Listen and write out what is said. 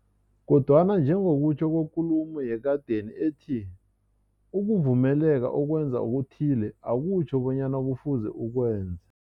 Kodwana njengokutjho kwekulumo yekadeni ethi, ukuvumeleka ukwenza okuthile, akutjho bonyana kufuze ukwenze.